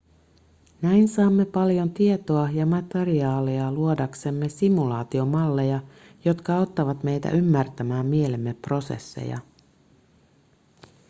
näin saamme paljon tietoa ja materiaalia luodaksemme simulaatiomalleja jotka auttavat meitä ymmärtämään mielemme prosesseja